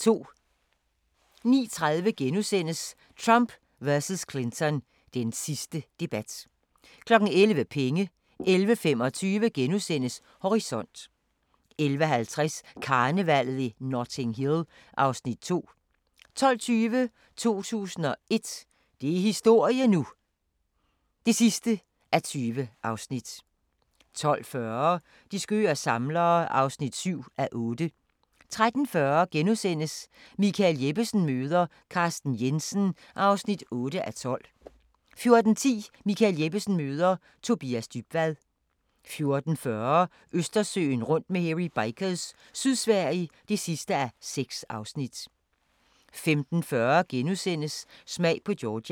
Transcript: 09:30: Trump vs. Clinton – den sidste debat * 11:00: Penge 11:25: Horisont * 11:50: Karnevallet i Notting Hill (Afs. 2) 12:20: 2001 – det er historie nu! (20:20) 12:40: De skøre samlere (7:8) 13:40: Michael Jeppesen møder ... Carsten Jensen (8:12)* 14:10: Michael Jeppesen møder ... Tobias Dybvad 14:40: Østersøen rundt med Hairy Bikers – Sydsverige (6:6) 15:40: Smag på Georgia *